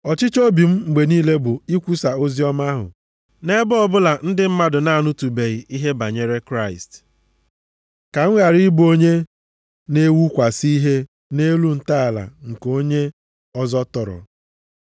Ọchịchọ obi m mgbe niile bụ ikwusa oziọma ahụ nʼebe ọbụla ndị mmadụ na-anụtụbeghị ihe banyere Kraịst, ka m ghara ịbụ onye na-ewukwasị ihe nʼelu ntọala nke onye ọzọ tọrọ,